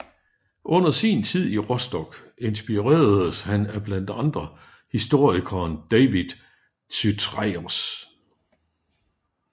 Under sin tid i Rostock inspireredes han af blandt andre historikeren David Chytraeus